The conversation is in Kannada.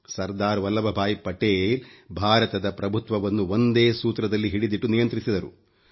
ಸರ್ದಾರ್ ವಲ್ಲಭಭಾಯಿ ಪಟೇಲ್ ಭಾರತದ ಪ್ರಭುತ್ವವನ್ನು ಒಂದೇ ಸೂತ್ರದಲ್ಲಿ ಹಿಡಿದಿಟ್ಟು ನಿಯಂತ್ರಿಸಿದರು